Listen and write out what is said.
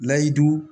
Layidu